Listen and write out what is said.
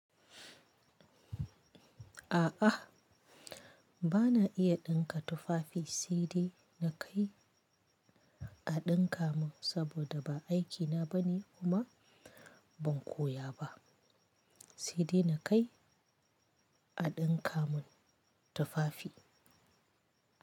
A'a, ba na iya ɗinka tufafi sai dai na kai a ɗinka mun saboda ba aikina ba ne kuma ban koya ba sai dai na kai a ɗinka mun tufafi.